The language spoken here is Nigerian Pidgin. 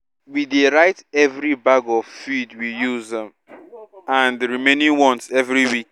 we dey write every bag of feed we use um and remaining ones every week